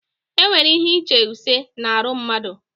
Enwere ihe uche ise na arụ mmadụ